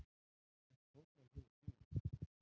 Hvert fótmál hefur þýðingu.